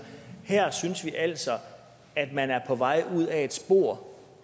her synes vi altså at man er på vej ud ad et spor